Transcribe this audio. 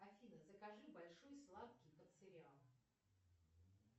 афина закажи большой сладкий под сериал